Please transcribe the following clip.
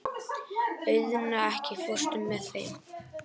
Auðna, ekki fórstu með þeim?